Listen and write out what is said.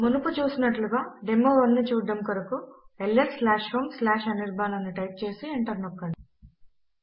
మునుపు చూసినట్లుగా డెమో1 ను చూడడము కొరకు lshomeఅనిర్బాన్ అని టైప్ చేసి ఎంటర్ నొక్కండి